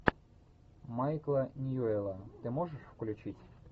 майкла ньюэлла ты можешь включить